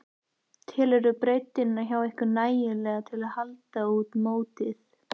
Telurðu breiddina hjá ykkur nægilega til að halda út mótið?